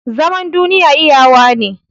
Zaman duniya iyawa ne